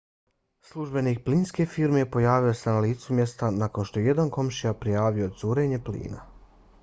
službenik plinske firme pojavio se na licu mjesta nakon što je jedan komšija prijavio curenje plina